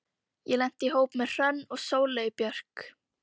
Ég lenti í hópi með Hrönn og Sóleyju Björk.